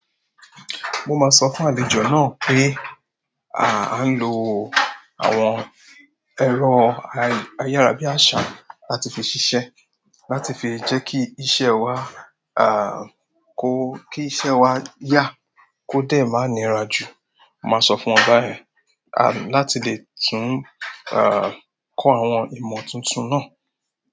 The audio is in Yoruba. Mo maa sọ fún àlejò náà pé, à ń lo àwọn ẹ̀rọ ayárabíàsá láti fi ṣiṣẹ́, láti fi jẹ́ kí iṣẹ́ wa kò kí iṣẹ́ wa yá kó dé máa nira jù. Máa sọ fún wọn bá yen, láti lè tún kọ àwọn ìmọ̀ tuntun náà.